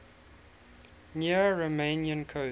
near romanian coast